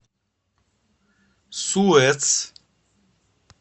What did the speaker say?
суэц